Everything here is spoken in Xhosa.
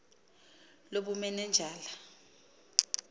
lobumanenjala